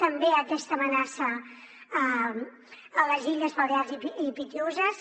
també aquesta amenaça a les illes balears i pitiüses